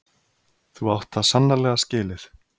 Þú átt það sannarlega skilið.